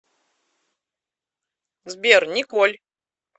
сбер николь